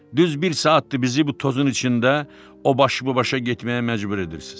Düz bir saatdır bizi bu tozun içində o baş bu başa getməyə məcbur edirsiz.